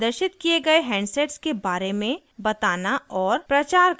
प्रदर्शित किये गए हैंडसेट्स के बारे में बताना और प्रचार करना